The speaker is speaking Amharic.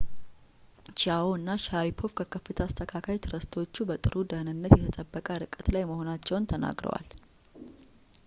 ቺያዎ እና ሻሪፖቭ ከከፍታ አስተካካይ ትረስተሮቹ በጥሩ ደህንነት የተጠበቀ ርቀት ላይ መሆናቸውን ተናግረዋል